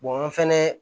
an fɛnɛ